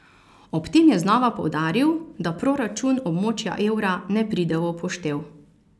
Ob tem je znova poudaril, da proračun območja evra ne pride v poštev.